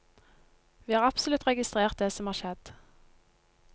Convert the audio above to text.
Vi har absolutt registrert det som har skjedd.